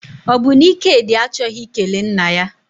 Ọ bụ na Ikedi achọghị ikele nna ya?